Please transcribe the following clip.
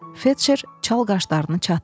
Felçer çal qaşlarını çatdı.